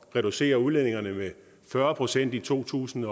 reducere udledningerne med fyrre procent i to tusind